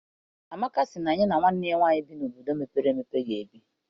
Amaka sị na ya na nwanne ya nwaanyị bi n'obodo mepere emepe ga ebi.